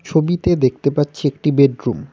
ছবিতে দেখতে পাচ্ছি একটি বেডরুম ।